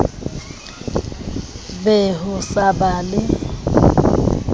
be ho sa ba le